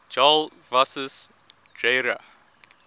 jarl kvasis dreyra